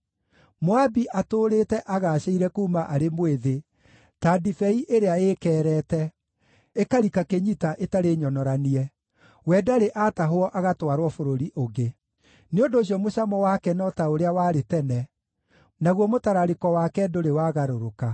“Moabi atũũrĩte agaacĩire kuuma arĩ mwĩthĩ, ta ndibei ĩrĩa ĩĩkeerete, ĩkarika kĩnyita ĩtarĩ nyonoranie; we ndarĩ aatahwo agatwarwo bũrũri ũngĩ. Nĩ ũndũ ũcio mũcamo wake no ta ũrĩa warĩ tene, naguo mũtararĩko wake ndũrĩ wagarũrũka.